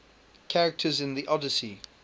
characters in the odyssey